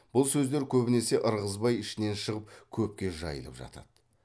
бұл сөздер көбінесе ырғызбай ішінен шығып көпке жайылып жатады